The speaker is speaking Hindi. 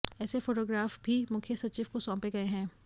ऐसे फोटोग्राफ भी मुख्य सचिव को सौंपे गए हैं